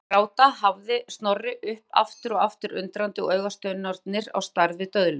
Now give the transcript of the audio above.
Pabbi gráta hafði Snorri upp aftur og aftur undrandi og augasteinarnir á stærð við döðlur.